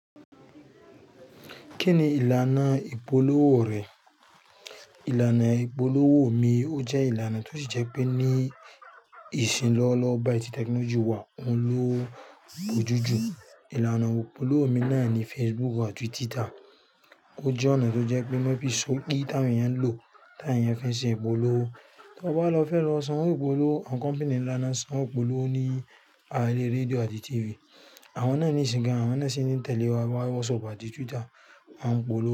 Kí ni ìlànà ìpolówó rẹ̀? Ìlànà ìpolówó mi ó jẹ́ ìlànà tó ṣi jẹ́ pé ní ìsìn lọ́wọ́lọ́wọ́ báyìí ti technology wà, ouń lò bojúùjù ìlànà ìpolówó mi náà ni Facebook àti Twitter. Ó jẹ́ ọ̀nà tó jẹ́ pé má fi sọgi táwon èèyàn ń lò, táwon eẹ̀yàn ffin ṣe ìpolówó. Tọ bá lọ fẹ́ lọ san wó ìpolówó, àwọn company nlà naà n san owó ìpolówó ní ara erẹ rédíò àti TV. Àwọn náà níisìn gán, àwọn náà sì ti n tẹ̀lé wa WhatsApp àti Twitter. Wọn polówó.